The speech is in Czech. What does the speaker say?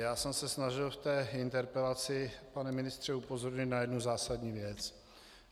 Já jsem se snažil v té interpelaci, pane ministře, upozornit na jednu zásadní věc.